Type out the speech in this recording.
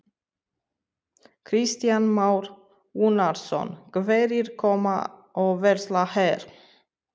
Kristján Már Unnarsson: Hverjir koma og versla hér?